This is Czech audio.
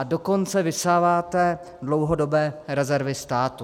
A dokonce vysáváte dlouhodobé rezervy státu.